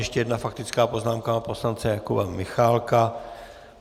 Ještě jedna faktická poznámka, pana poslance Jakuba Michálka.